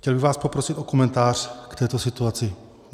Chtěl bych vás poprosit o komentář k této situaci.